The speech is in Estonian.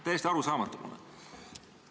Täiesti arusaamatu mulle!